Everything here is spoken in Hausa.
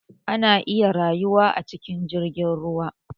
Ana iya rayuwa a cikin jirgin ruwa